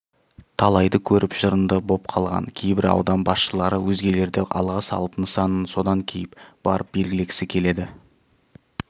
талайды көріп жырынды боп қалған кейбір аудан басшылары өзгелерді алға салып нысанасын содан кейіп барып белгілегісі келеді